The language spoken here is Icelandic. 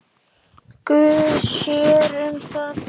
Guð sér um það.